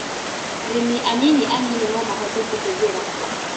Arĩmi anini anini nomahote kũhũthĩra